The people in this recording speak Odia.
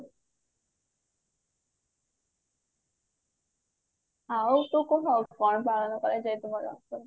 ଆଉ ତୁ କହ କଣ